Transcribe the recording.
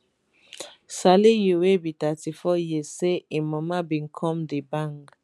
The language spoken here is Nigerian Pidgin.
saliu wey be 34 years say im mama bin come dey bang